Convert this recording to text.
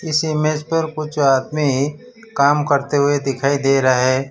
इस इमेज पर कुछ आदमी काम करते हुए दिखाई दे रहा है।